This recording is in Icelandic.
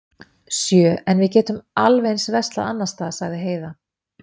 Sjö, en við getum alveg eins verslað annars staðar, sagði Heiða.